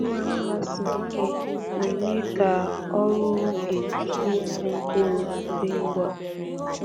Mma mma siri ike na-eme ka ọrụ oge ịkụ mkpụrụ dị ngwa